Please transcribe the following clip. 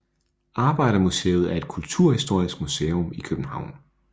Arbejdermuseet er et kulturhistorisk museum i København